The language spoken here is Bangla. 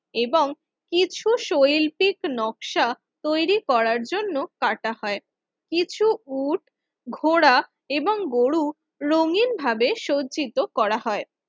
এবং কিছু শৈল্পিক নকশা তৈরি করার জন্য কাটা হয় কিছু উট ঘোড়া এবং গরু রঙিনভাবে সজ্জিত করা হয়